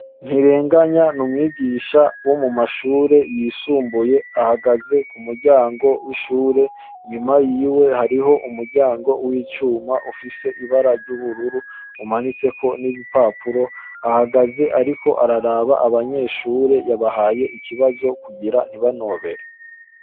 Ntirenganya ni umwigisha wo mu mashure yisumbuye. Ahagaze ku muryango w'ishure. Inyuma yiwe hariho umuryango w'icuma ufise ibara ry'ubururu umanitseko ibipapuro. Ahagaze ariko araraba abanyeshure, yabahaye ikibazo kugira ntibanobere.